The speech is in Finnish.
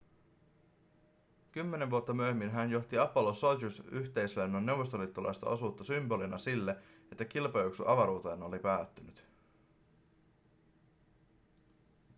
kymmenen vuotta myöhemmin hän johti apollo-sojuz-yhteislennon neuvostoliittolaista osuutta symbolina sille että kilpajuoksu avaruuteen oli päättynyt